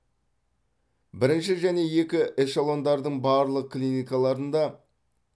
бірінші және екі эшелондардың барлық клиникаларында